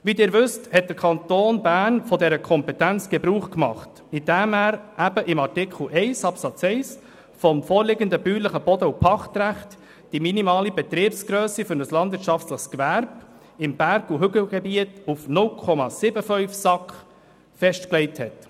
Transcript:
Wie Sie wissen, hat der Kanton Bern von dieser Kompetenz Gebrauch gemacht, indem er in Artikel 1 Absatz 1 des vorliegenden BPG die minimale Betriebsgrösse für ein landwirtschaftliches Gewerbe im Berg- und Hügelgebiet auf 0,75 SAK festgelegt hat.